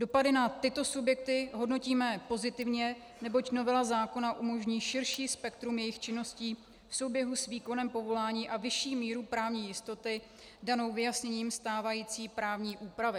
Dopady na tyto subjekty hodnotíme pozitivně, neboť novela zákona umožní širší spektrum jejich činností v souběhu s výkonem povolání a vyšší míru právní jistoty danou vyjasněním stávající právní úpravy.